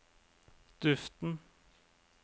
duften